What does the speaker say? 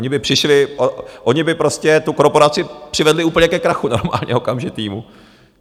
Oni by přišli, oni by prostě tu korporaci přivedli úplně ke krachu, normálně okamžitému.